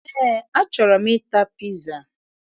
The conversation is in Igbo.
Eé, achọrọ m ịta piza